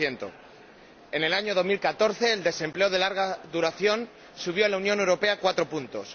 0 en el año 2014, el desempleo de larga duración subió en la Unión Europea 4 puntos.